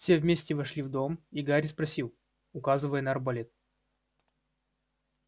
все вместе вошли в дом и гарри спросил указывая на арбалет